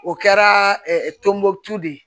O kɛra tɔnbɔkutu de ye